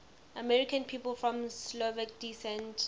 american people of slovak descent